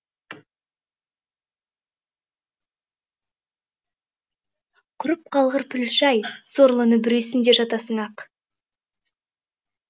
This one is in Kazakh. құрып қалғыр пүліш ай сорлыны бүресің де жатасың ақ